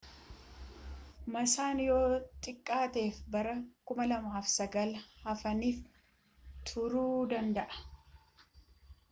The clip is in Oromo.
maassaan yoo xiqqaateef bara 2009hafaniif turuu danda'a